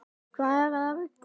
Hvað eruð þið að rugla?